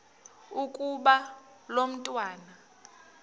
ukuba lo mntwana